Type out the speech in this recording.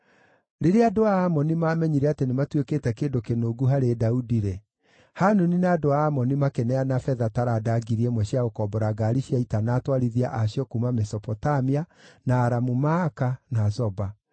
Rĩrĩa andũ a Amoni maamenyire atĩ nĩmatuĩkĩte kĩndũ kĩnungu harĩ Daudi-rĩ, Hanuni na andũ a Amoni makĩneana betha taranda ngiri ĩmwe cia gũkombora ngaari cia ita na atwarithia a cio kuuma Mesopotamia, na Aramu-Maaka, na Zoba.